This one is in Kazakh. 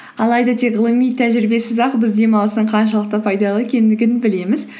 алайда тек ғылыми тәжірибесіз ақ біз демалыстың қаншалықты пайдалы екендігін білеміз